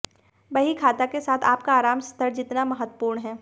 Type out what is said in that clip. बहीखाता के साथ आपका आराम स्तर जितना महत्वपूर्ण है